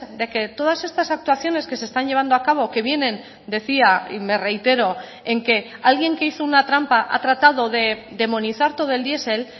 de que todas estas actuaciones que se están llevando a cabo que vienen decía y me reitero en que alguien que hizo una trampa ha tratado de demonizar todo el diesel